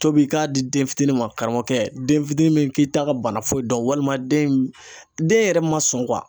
tobi i k'a di den fitini ma karamɔgɔkɛ den fitini min k'i ta ka bana foyi dɔn walima den in den yɛrɛ man sɔn